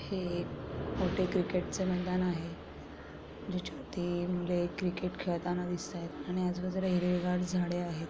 हे मोठे क्रिकेट चे मैदान आहे जो छोटे मुले क्रिकेट खेळताना दिसतायत आणि आजु बाजूला हिरवे गार झाडे आहेत.